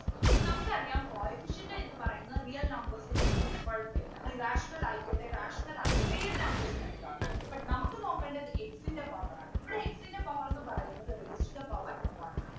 അപ്പൊ നമുക്കറിയാം coefficient എന്ന് പറയുന്നത് real numbers ന്ന് എടുത്തോട്ടെ കുഴപ്പമില്ല അത് rational ആയിക്കോട്ടെ irrational ആയിക്കോട്ടെ ഏത് numbers വേണെങ്കിലും ആകാം but നമുക്ക് നോക്കേണ്ടത് x ൻ്റെ power ആണ് ഇവിടെ x ൻ്റെ power ന്നു പറയുന്നത് raised to the power one ആണ്